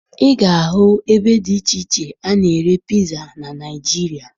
Ị ga-ahụ ebe dị iche iche a na-ere piza na Naịjirịa